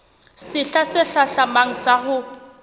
sehla se hlahlamang sa ho